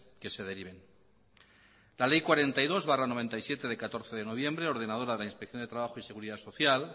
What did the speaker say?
que se deriven la ley cuarenta y dos barra mil novecientos noventa y siete de catorce de noviembre ordenadora de inspección de trabajo y seguridad social